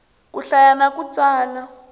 ku hlaya na ku tsala